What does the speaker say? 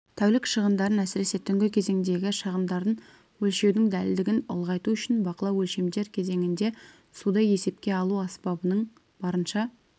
тәулік шығындарын әсіресе түнгі кезеңдегі шығындарын өлшеудің дәлдігін ұлғайту үшін бақылау өлшемдер кезеңінде суды есепке алу аспабының барынша